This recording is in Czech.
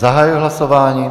Zahajuji hlasování.